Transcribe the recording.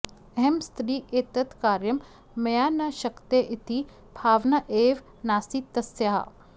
अहं स्त्री एतत् कार्यं मया न शक्यते इति भावना एव नासीत् तस्याः